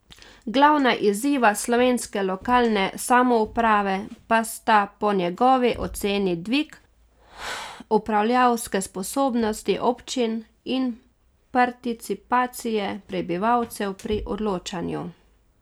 Glavna izziva slovenske lokalne samouprave pa sta po njegovi oceni dvig upravljavske sposobnosti občin in participacije prebivalcev pri odločanju.